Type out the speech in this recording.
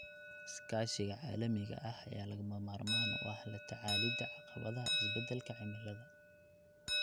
Iskaashiga caalamiga ah ayaa lagama maarmaan u ah la tacaalida caqabadaha isbeddelka cimilada.